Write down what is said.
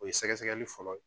O ye sɛgɛ sɛgɛli fɔlɔ ye